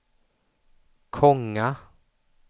Konga